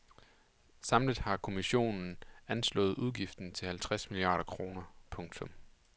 Samlet har kommissionen anslået udgiften til halvtreds milliarder kroner. punktum